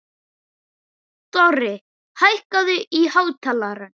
Dorri, hækkaðu í hátalaranum.